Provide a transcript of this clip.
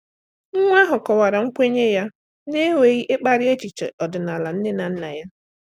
Nwa ahụ kọwara nkwenye ya na-enweghị ịkparị echiche ọdịnala nne na nna ya.